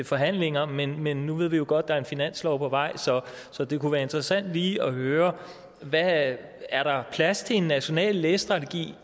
forhandlinger men men nu ved vi jo godt er en finanslov på vej så det kunne være interessant lige at høre er der plads til en national læsestrategi